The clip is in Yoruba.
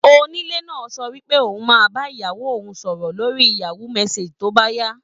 Onílé náà sọ wípé òun máa bá ìyàwó òun sọ̀rọ̀ lórí Yahoo messenger tí ó bá yá.